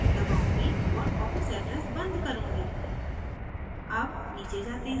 मैं yes दबाऊँगी और office address बंद करुँगी